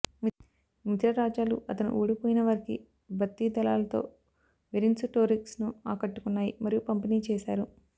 మిత్రరాజ్యాలు అతను ఓడిపోయినవారికి భర్తీ దళాలతో వెరిన్సుటోరిక్స్ను ఆకట్టుకున్నాయి మరియు పంపిణీ చేశారు